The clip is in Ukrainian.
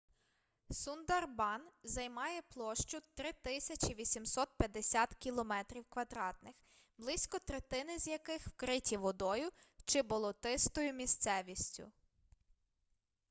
сундарбан займає площу 3 850 км² близько третини з яких вкриті водою чи болотистою місцевістю